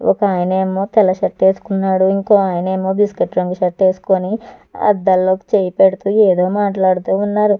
ఒక అయినేమో తెల్ల షర్ట్ వేసుకున్నాడు ఇంకో ఆయనేమో బిస్క్యూయిట్ రంగు షర్ట్ ఏసుకొని అద్దంలోకి చెయ్ పెడుతూ ఏదో మాట్లాడుతూవున్నారు.